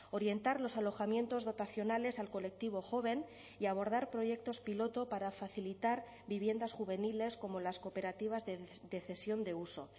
orientar los alojamientos dotacionales al colectivo joven y abordar proyectos piloto para facilitar viviendas juveniles como las cooperativas de cesión de uso